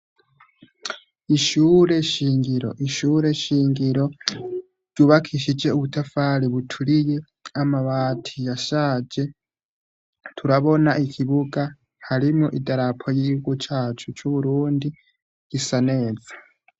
Ishure shingiro, ishure shingiro ryubakishije ubutafari buturiye amabati ya shaje turabona ikibuga harimo idarapo y'igikugu cacu c'uburundi gisa neza.